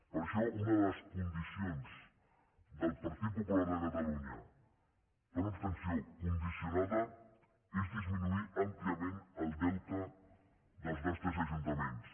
per això una de les condicions del partit popular de catalunya per una abstenció condicionada és disminuir àmpliament el deute dels nostres ajuntaments